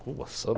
Cuba,